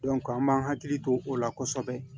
an b'an hakili to o la kɔsɛbɛ